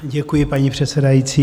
Děkuji, paní předsedající.